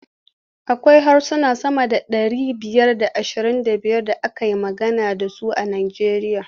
Akwai harsuna sama da ɗari biyar da ashirin da biyar da ake magana da su a Nijeriya.